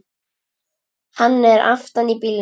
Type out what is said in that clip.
Hann er aftan í bílnum!